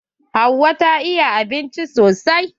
Hauwa ta iya abinci sosai.